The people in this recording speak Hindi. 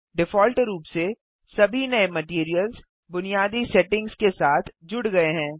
डिफ़ॉल्ट रूप से सभी नये मटैरियल्स बुनियादी सेटिंग्स के साथ जुड़ गये हैं